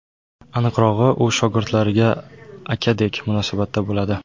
Aniqrog‘i, u shogirdlariga akadek munosabatda bo‘ladi.